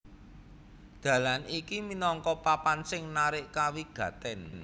Dalan iki minangka papan sing narik kawigatèn